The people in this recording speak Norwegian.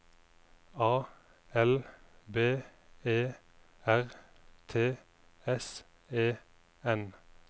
A L B E R T S E N